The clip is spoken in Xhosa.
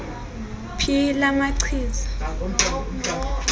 phi la machiza